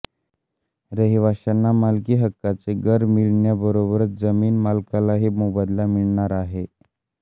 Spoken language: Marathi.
रहिवाशांना मालकी हक्काचे घर मिळण्याबरोबरच जमीन मालकालाही मोबदला मिळणार आहे